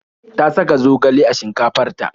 Ta saka zogale a shinkafar ta.